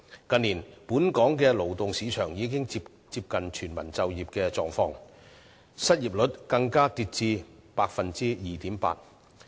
近年來，本港勞動市場已接近達致全民就業的水平，失業率更跌至 2.8%。